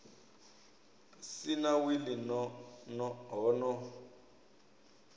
si na wili ho no